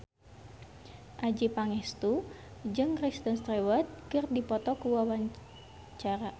Adjie Pangestu jeung Kristen Stewart keur dipoto ku wartawan